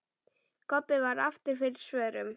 Kobbi varð aftur fyrir svörum.